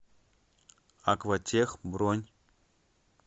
акватех бронь